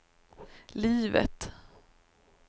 livet